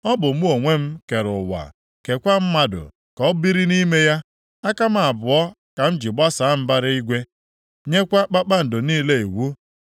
Ọ bụ mụ onwe m kere ụwa, keekwa mmadụ ka o biri nʼime ya. Aka m abụọ ka m ji gbasaa mbara igwe, nyekwa kpakpando niile iwu.